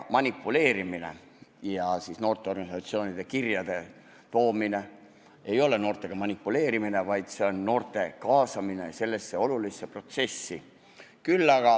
Noorteorganisatsioonide kirjade teadvustamine ei ole noortega manipuleerimine, vaid see on noorte kaasamine sellesse olulisse protsessi.